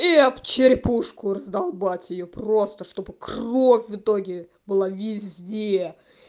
и об черепушку раздолбать её просто чтобы кровь в итоге была везде